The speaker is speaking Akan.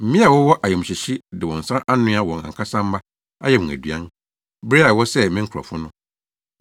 Mmea a wɔwɔ ayamhyehye de wɔn nsa anoa wɔn ankasa mma, ayɛ wɔn aduan, bere a wɔsɛee me nkurɔfo no.